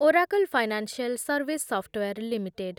Oracle Financial Service Software limited